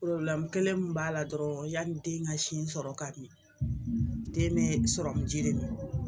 kelen mun b'a la dɔrɔn yanni den ka sin sɔrɔ ka ɲɛ den bɛ sɔrɔmu ji de ma